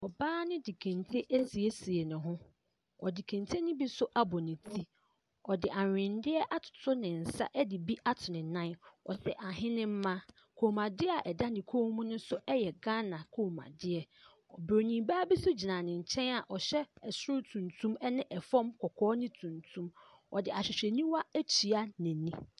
Ɔbaa no de kente asiesie ne ho. Ɔde kente no bi nso abɔ ne ti. Ɔde annwendeɛ atoto ne nsa de bi ato ne nan. Ɔhyɛ ahenemma. Kɔmmuadeɛ a ɛda ne kɔn mu no nso yɛ Ghana kɔmmuadeɛ. Oburoni baa bi nso gyina ne nkyɛn a ɔhyɛ soro tutum ne fam kɔkɔɔ ne tuntum. Ɔde ahwehwɛniwa atua n'ani.